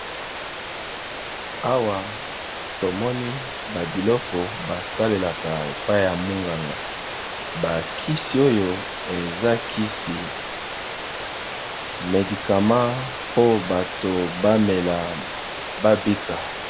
Awa tomoni babiloko basalelaka epai ya munganga, bakisi oyo eza kisi medikama mpo bato bamela babika.